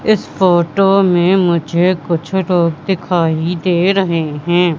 इस फोटो में मुझे कुछ लोग दिखाई दे रहे हैं।